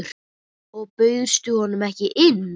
Og bauðstu honum ekki inn?